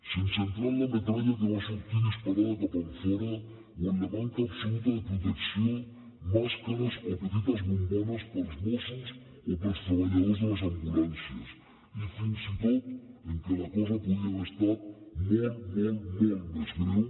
sense entrar en la metralla que va sortir disparada cap enfora o en la manca absoluta de protecció màscares o petites bombones per als mossos o per als treballadors de les ambulàncies i fins i tot que la cosa podia haver estat molt molt molt més greu